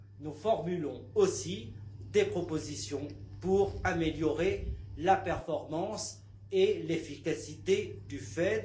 Nous formulons aussi des propositions pour améliorer la performance et l'efficacité du FED.